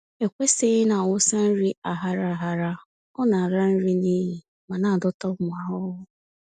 E kwesịghị ịnawụsa nri aghara aghara, ọ-nala nri n'iyi ma na-adọta ụmụ ahụhụ.